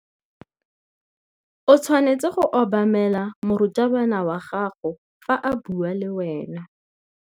O tshwanetse go obamela morutabana wa gago fa a bua le wena.